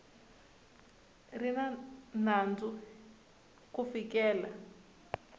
ri na nandzu ku fikela